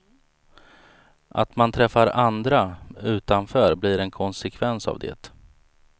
Att man träffar andra utanför blir en konsekvens av det.